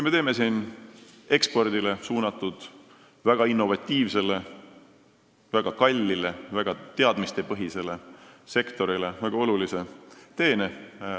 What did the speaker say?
Me teeksime selle seadusega ekspordile suunatud, väga innovatiivsele, väga kallile ja väga teadmistepõhisele sektorile väga olulise teene.